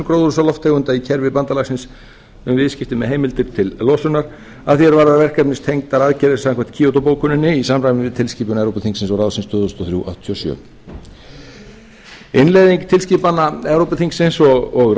gróðurhúsalofttegunda í kerfi bandalagsins með viðskipti með heimildir til losunar að því er varðar verkefnistengdar aðgerðir samkvæmt kýótóbókuninni í samræmi við tilskipun evrópuþingsins og ráðsins tvö þúsund og þrjú áttatíu og sjö e b innleiðing tilskipana evrópuþingsins og ráðsins